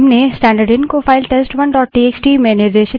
अतः command test1 से reads पढ़ती करती है